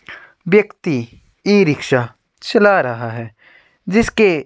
व्यक्ति इ-रिक्शा चला रहा है जिसके --